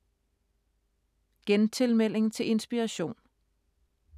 Gentilmelding til Inspiration